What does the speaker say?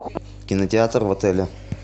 кинотеатр в отеле